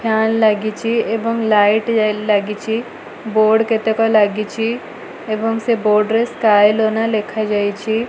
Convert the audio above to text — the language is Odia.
ଫ୍ୟାନ ଲାଗିଛି ଏବଂ ଲାଇଟ୍ ଲାଗିଛି ବୋର୍ଡ କେତେକ ଲାଗିଛି ଏବଂ ସେ ବୋର୍ଡ ରେ ସ୍କ୍ୟାଏ ଆଲୋନା ଲେଖାଯାଇଛି।